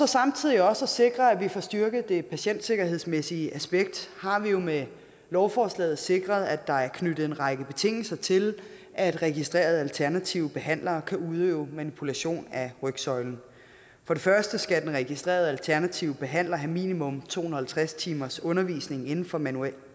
samtidig også at sikre at vi får styrket det patientsikkerhedsmæssige aspekt har vi jo med lovforslaget sikret at der er knyttet en række betingelser til at registrerede alternative behandlere kan udøve manipulation af rygsøjlen for det første skal den registrerede alternative behandler have minimum to hundrede og halvtreds timers undervisning inden for manuel